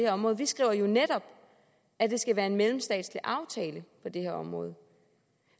område vi skriver jo netop at det skal være en mellemstatslig aftale på det her område